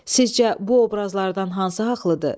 Sizcə bu obrazlardan hansı haqlıdır?